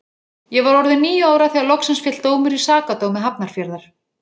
Ég var orðin níu ára þegar loksins féll dómur í Sakadómi Hafnarfjarðar.